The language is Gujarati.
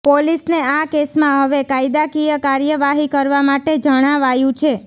પોલીસને આ કેસમાં હવે કાયદાકીય કાર્યવાહી કરવા માટે જણાવાયું છે